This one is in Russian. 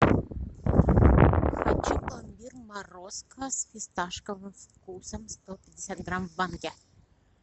хочу пломбир морозко с фисташковым вкусом сто пятьдесят грамм в банке